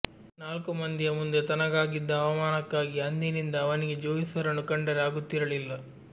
ನಾಲ್ಕು ಮಂದಿಯ ಮುಂದೆ ತನಗಾಗಿದ್ದ ಅವಮಾನಕ್ಕಾಗಿ ಅಂದಿನಿಂದ ಅವನಿಗೆ ಜೋಯಿಸರನ್ನು ಕಂಡರೆ ಆಗುತ್ತಿರಲಿಲ್ಲ